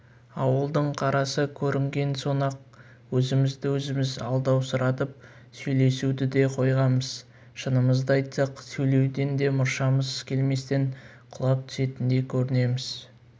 ауылдың қарасы көрінген соң-ақ өзімізді-өзіміз алдаусыратып сөйлесуді де қойғанбыз шынымызды айтсақ сөйлеуден де мұршамыз келместен құлап түсетіндей көрінеміз